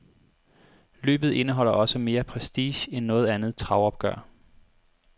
Løbet indeholder også mere prestige end noget andet travopgør.